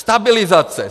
Stabilizace.